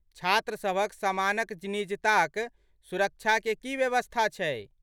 छात्र सभक समानक निजता क सुरक्षाके की व्यवस्था छै?